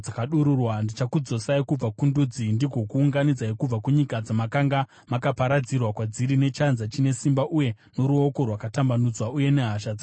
Ndichakudzosai kubva kundudzi ndigokuunganidzai kubva kunyika dzamakanga makaparadzirwa kwadziri, nechanza chine simba uye noruoko rwakatambanudzwa uye nehasha dzakadururwa.